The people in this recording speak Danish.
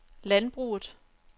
landbruget